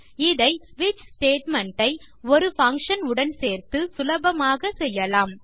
இதை ஸ்விட்ச் ஸ்டேட்மெண்ட் ஐ ஒரு பங்ஷன் உடன் சேர்த்து சுலபமாக செய்யலாம்